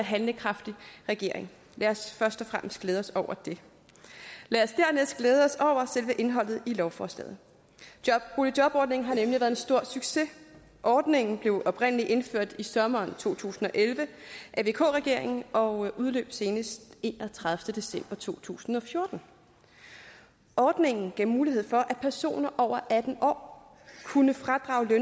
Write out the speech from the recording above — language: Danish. og handlekraftig regering lad os først og fremmest glæde os over det lad os dernæst glæde os over selve indholdet i lovforslaget boligjobordningen har nemlig været en stor succes ordningen blev oprindelig indført i sommeren to tusind og elleve af vk regeringen og udløb senest enogtredivete december to tusind og fjorten ordningen gav mulighed for at personer over atten år kunne fradrage